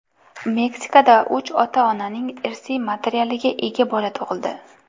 Meksikada uch ota-onaning irsiy materialiga ega bola tug‘ildi .